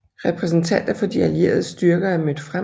Repræsentanter for de allieredes styrker er mødt frem